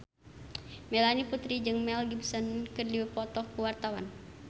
Melanie Putri jeung Mel Gibson keur dipoto ku wartawan